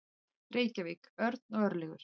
Reykjavík: Örn og Örlygur.